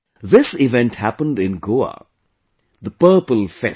This event happened in Goa Purple Fest